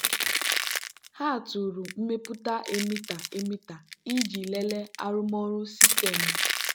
ha tụrụ mmepụta emitter emitter iji lelee arụmọrụ sistemu.